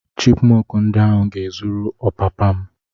Chipmọnk ndi ahụ ga-ezuru ọpapa m.